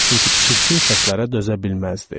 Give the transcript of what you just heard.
Çünki çirkin səslərə dözə bilməzdi.